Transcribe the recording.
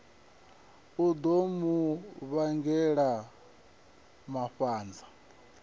u ḓo mu vhangela mafhanza